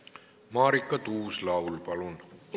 Marika Tuus-Laul, palun!